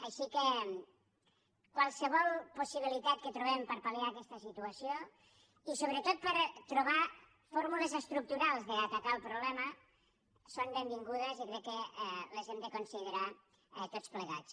així que qualsevol possibilitat que trobem per palbretot per trobar fórmules estructurals d’atacar el problema és benvinguda i crec que les hem de considerar tots plegats